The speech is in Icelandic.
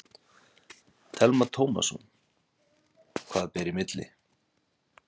Telma Tómasson: Hvað ber í milli?